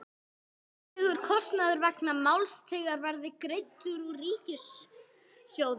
Væntanlegur kostnaður vegna máls þessa verði greiddur úr ríkissjóði.